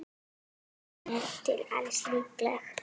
Hún er til alls líkleg.